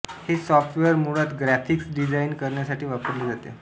हे सॉफ्टवेअर मुळात graphics design करण्यासाठी वापरले जाते